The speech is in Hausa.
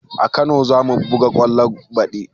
A kano zamu buga kwallo baɗi